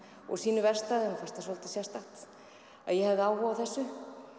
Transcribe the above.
og sínu verkstæði honum fannst það svolítið sérstakt að ég hefði áhuga á þessu